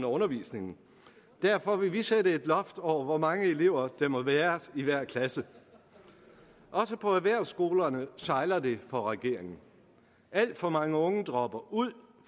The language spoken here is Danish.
undervisningen derfor vil vi sætte et loft over hvor mange elever der må være i hver klasse også på erhvervsskolerne sejler det for regeringen alt for mange unge dropper ud